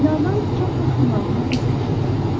Binadan çap maşınlarının səsi eşidilirdi.